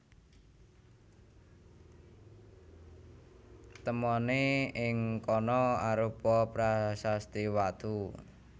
Temoné ing kana arupa prasasti watu